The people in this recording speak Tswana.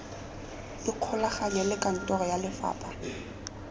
ikgolaganye le kantoro ya lefapha